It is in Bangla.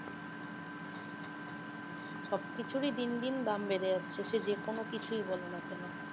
সব কিছুরই দিনদিন দাম বেড়ে যাচ্ছে সে যে কোনো কিছুই বলো না কেন